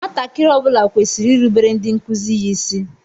Nwatakịrị ọ bula kwesịrị irubere ndị nkụzi ya ịsị.